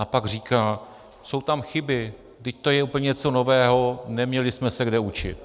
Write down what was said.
A pak říká - jsou tam chyby, vždyť to je úplně něco nového, neměli jsme se kde učit.